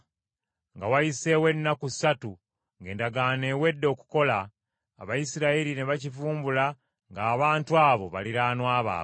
Nga wayiseewo ennaku ssatu ng’endagaano ewedde okukola, Abayisirayiri ne bakivumbula ng’abantu abo baliraanwa baabwe.